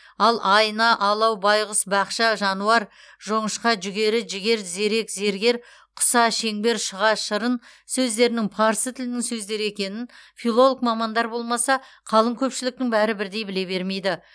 ал айна алау байғұс бақша жануар жоңышқа жүгері жігер зерек зергер құса шеңбер шұға шырын сөздерінің парсы тілінің сөздері екенін филолог мамандар болмаса қалың көпшіліктің бәрі бірдей біле бермейді